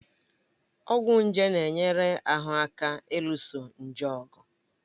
Ọgwụ nje na-enyere ahụ aka ịlụso nje ọgụ